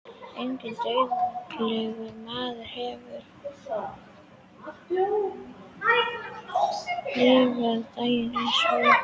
Enginn dauðlegur maður hefur lifað dag eins og ég.